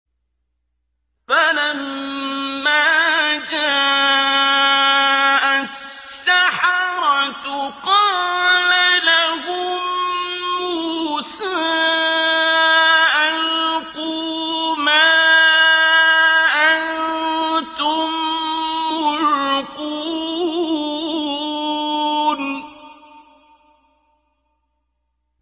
فَلَمَّا جَاءَ السَّحَرَةُ قَالَ لَهُم مُّوسَىٰ أَلْقُوا مَا أَنتُم مُّلْقُونَ